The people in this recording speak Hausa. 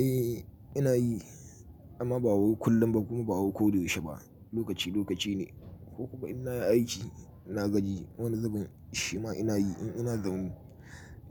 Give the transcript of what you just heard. Eh ina yi amma ba kullum ba kuma ba ko da yaushe ba, lokaci lokace ne ko kuma ina yi aiki ina gaji wani zubin shima ina yi in ina zaune